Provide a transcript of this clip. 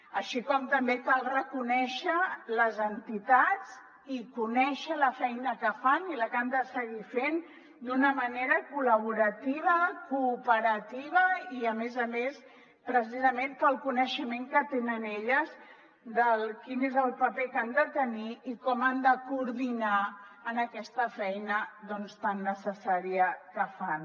així com també cal reconèixer les entitats i conèixer la feina que fan i la que han de seguir fent d’una manera col·laborativa cooperativa i a més a més precisament pel coneixement que tenen elles de quin és el paper que han de tenir i com han de coordinar aquesta feina doncs tan necessària que fan